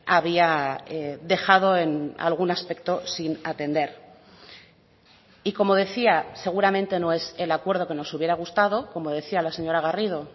había dejado en algún aspecto sin atender y como decía seguramente no es el acuerdo que nos hubiera gustado como decía la señora garrido